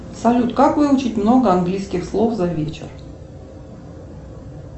салют как выучить много английских слов за вечер